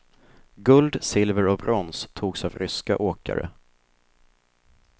Guld, silver och brons togs av ryska åkare.